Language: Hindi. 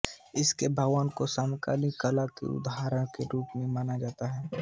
इसके भवन को समकालीन कला के एक उदाहरण के रूप में माना जा सकता है